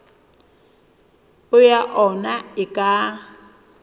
peo ya ona e ka